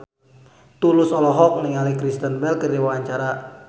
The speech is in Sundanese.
Tulus olohok ningali Kristen Bell keur diwawancara